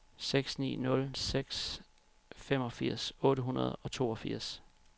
seks ni nul seks femogfirs otte hundrede og toogfirs